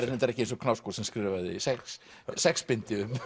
er reyndar ekki eins og Knausgård sem skrifaði sex sex bindi um